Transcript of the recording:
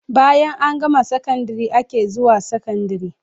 Bayan an gama sakandare ake zuwan sakandari